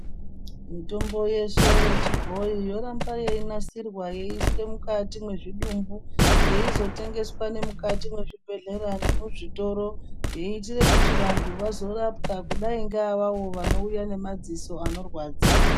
Mitombo yeshe yechiboyi yoramba yeinasirwa yeiiswe mukati mwezvidumbu yeizotengeswa mukati mwezvibhehleya nemuzvitoro yeiitire kuti vantu vazorapwa kudai ngeavavo vonouya nemaziso anorwadza.